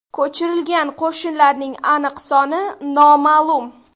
Ko‘chirilgan qo‘shinlarning aniq soni noma’lum.